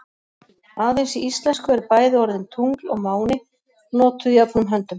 Aðeins í íslensku eru bæði orðin tungl og máni notuð jöfnum höndum.